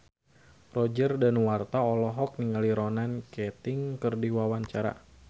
Roger Danuarta olohok ningali Ronan Keating keur diwawancara